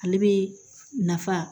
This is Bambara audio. Ale bɛ nafa